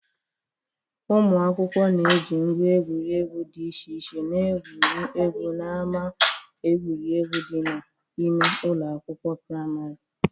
Ụmụ akwụkwọ na-eji ngwa egwuregwu dị iche iche na-egwuriegwu n'ama egwuregwu dị n'ime ụlọ akwụkwọ prịmarị.